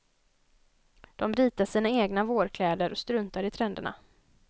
De ritar sina egna vårkläder och struntar i trenderna.